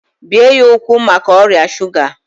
bee ya ụkwụ maka ọrịa shuga!